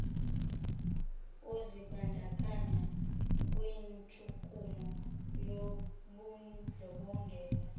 uzibandakanya kwintshukumo yobundlobongela